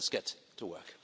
let's get to work.